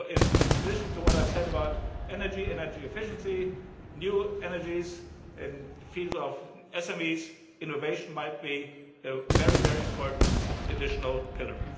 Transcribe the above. So in addition to what I have said about energy and energy efficiency, new energies in the fields of SMEs, innovation might be a very important additional pillar.